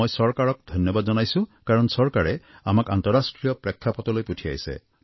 মই চৰকাৰক ধন্যবাদ জনাইছোঁ কাৰণ চৰকাৰে আমাক আন্তঃৰাষ্ট্ৰীয় প্ৰেক্ষাপটলৈ পঠিয়াইছে